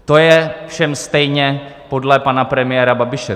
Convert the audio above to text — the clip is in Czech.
To je všem stejně podle pana premiéra Babiše.